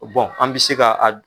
an bɛ se ka a